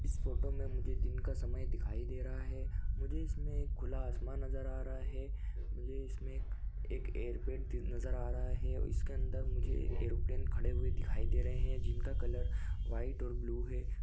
इस फोटो में मुझे दिन का समय दिखाई दे रहा है मुझे इसमें एक खुला आसमान नज़र आ रहा है मुझे इसमें एक एक एयरपेट दि नज़र आ रहा है और इसके अंदर मुझे ऐरोप्लेन खड़े हुए दिखाई दे रहे है जिनका कलर वाइट और ब्लू है।